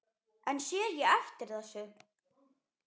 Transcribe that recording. En sé ég eftir þessu?